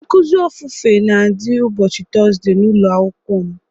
Nkụzi ofufe na adị ụbọchị Tọzdee n'ụlọ akwụkwọ m